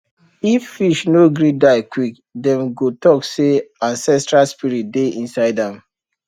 if fish no gree die quick dem go talk say ancestral spirit dey inside am